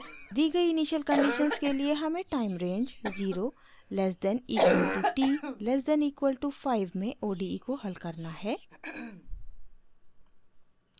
दी गयी initial conditions के लिए हमें time range 0 less than equal to t less than equal to 5 में ode को हल करना है